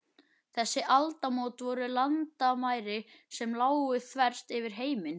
Þessi aldamót voru landamæri sem lágu þvert yfir heiminn.